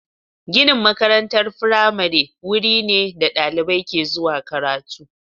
Ginin makarantar firamare wuri ne da dalibai ke zuwa karatu.